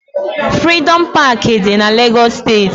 Frịdọm Pááki dị na Lagos steeti